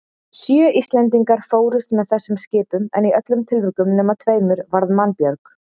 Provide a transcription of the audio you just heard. Sjö Íslendingar fórust með þessum skipum en í öllum tilvikum nema tveimur varð mannbjörg.